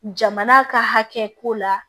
Jamana ka hakɛ ko la